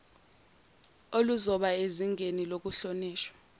oluzoba sezingeni lokuhlonishwa